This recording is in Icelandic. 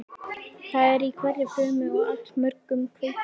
Það er í hverri frumu og allmörgum kveikjum.